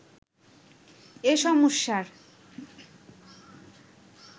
এ সমস্যার